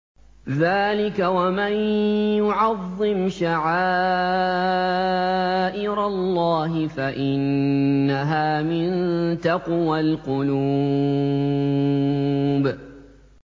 ذَٰلِكَ وَمَن يُعَظِّمْ شَعَائِرَ اللَّهِ فَإِنَّهَا مِن تَقْوَى الْقُلُوبِ